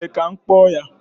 Ee, ka m kpọọ ya